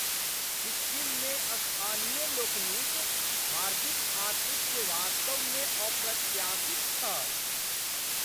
सिक्किममे स्थानीय लोकनिक हार्दिक आतिथ्य वास्तवमे अप्रत्याशित छल।